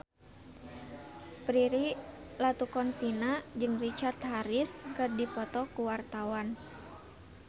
Prilly Latuconsina jeung Richard Harris keur dipoto ku wartawan